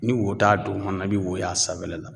Ni wo t'a duguma, i bi wo y'a sanfɛla la.